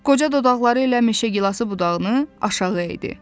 Qoca dodaqları ilə meşə gilas budağını aşağı eyidi.